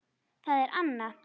Það er Anna.